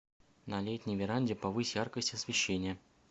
на летней веранде повысь яркость освещения